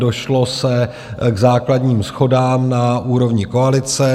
Došlo se k základním shodám na úrovni koalice.